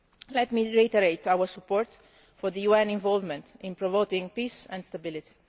Let me reiterate our support for the UN involvement in promoting peace and stability.